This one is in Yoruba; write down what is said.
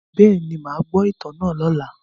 Bẹ́ẹ̀ni, màá gbọ́ ìtàn náà lọ́la.